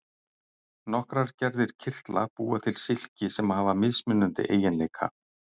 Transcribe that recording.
nokkrar gerðir kirtla búa til silki sem hafa mismunandi eiginleika